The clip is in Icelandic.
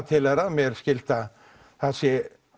til þeirra mér skilst að þar sé